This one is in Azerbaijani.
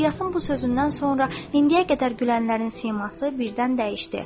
İlyasın bu sözündən sonra indiyə qədər gülənlərin siması birdən dəyişdi.